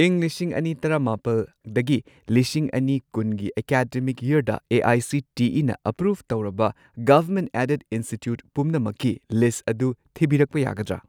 ꯢꯪ ꯂꯤꯁꯤꯡ ꯑꯅꯤ ꯇꯔꯥꯃꯥꯄꯜꯗꯒꯤ ꯂꯤꯁꯤꯡ ꯑꯅꯤ ꯀꯨꯟꯒꯤ ꯑꯦꯀꯥꯗꯃꯤꯛ ꯌꯔꯗ ꯑꯦ.ꯑꯥꯏ.ꯁꯤ.ꯇꯤ.ꯏ.ꯅ ꯑꯦꯄ꯭ꯔꯨꯚ ꯇꯧꯔꯕ ꯒꯚꯔꯃꯦꯟꯠ ꯑꯦꯗꯦꯗ ꯏꯟꯁꯇꯤꯇ꯭ꯌꯨꯠ ꯄꯨꯝꯅꯃꯛꯀꯤ ꯂꯤꯁ꯭ꯠ ꯑꯗꯨ ꯊꯤꯕꯤꯔꯛꯄ ꯌꯥꯒꯗ꯭ꯔꯥ?